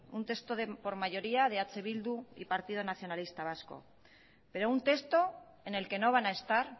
un texto por mayoría de eh bildu y partido nacionalista vasco pero un texto en el que no van a estar